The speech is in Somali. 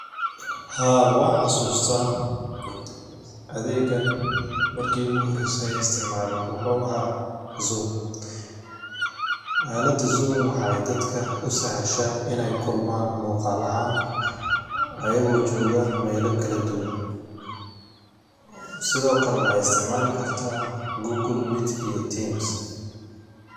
Haa, wanxasustah adegan marki iguhorese an isticmalo wuxu ahaa zoom. Aalada zoom waxay dadka usahashaah in ay kulman muqaal ahaan ayago jogah mela kala duwan, sidhokale waxaa isticmqli kartah google meet iyo teams.